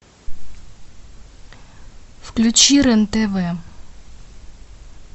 включи рен тв